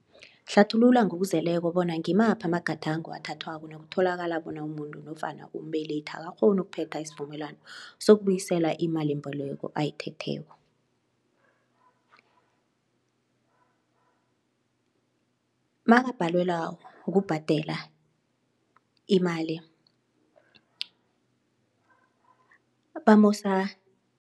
Hlathulula ngokuzeleko bona ngimaphi amagadango athathwako nakutholakala bona umuntu nofana umbelethi akakghoni ukuphetha isivumelwano sokubuyisela imalimboleko ayithetheko. Makabhadelwa ukubhadela imali bamusa